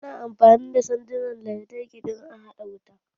Ana amfani da sandunan lantarki don a haɗa wuta.